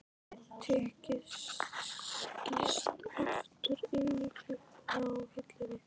Tikkið skýst aftur inn í klukkuna á hillunni.